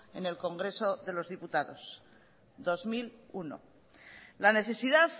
en el congreso de los diputados en el dos mil uno la necesidad